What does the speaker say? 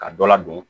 Ka dɔ ladon